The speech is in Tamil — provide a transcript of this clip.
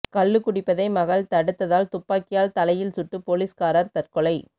கள்ளு குடிப்பதை மகள் தடுத்ததால் துப்பாக்கியால் தலையில் சுட்டு போலீஸ்காரர் தற்கொலை